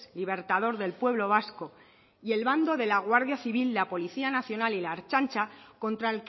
libertador del pueblo vasco y el bando de la guardia civil la policía nacional y la ertzaintza contra